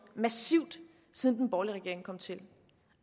massivt siden den borgerlige regering kom til